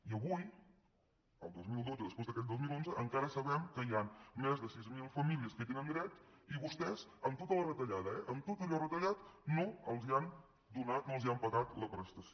i avui el dos mil dotze després d’aquell dos mil onze encara sabem que hi han més de sis mil famílies que hi tenen dret i vostès amb tota la retallada eh amb tot allò retallat no els han donat no els han pagat la prestació